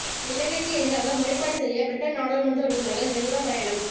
இலங்கைக்கு எதிராக முறைப்பாடு செய்ய பிரிட்டன் நாடாளுமன்ற உறுப்பினர்கள் ஜெனீவா பயணம்